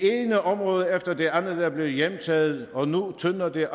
ene område efter det andet er blevet hjemtaget og nu tynder det